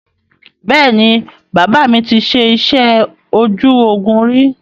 Bẹ́ẹ̀ni, bàbà mi ti ṣe iṣẹ́ ojú ogún ríi